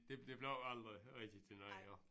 Det det blev aldrig rigtig til noget jo